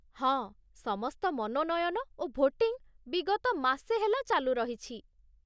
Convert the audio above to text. ହଁ, ସମସ୍ତ ମନୋନୟନ ଓ ଭୋଟିଙ୍ଗ୍ ବିଗତ ମାସେ ହେଲା ଚାଲୁ ରହିଛି।